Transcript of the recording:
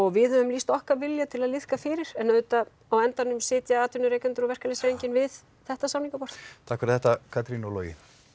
við höfum lýst okkar vilja til að liðka fyrir en auðvitað á endanum sitja atvinnurekendur og verkalýðshreyfingin við þetta samningaborð takk fyrir þetta Katrín og Logi